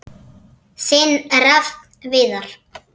Þinn Rafn Viðar.